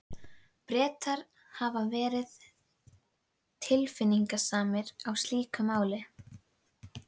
Bretar hafa alltaf verið tilfinningasamir í slíkum málum.